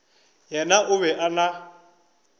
yena o be a na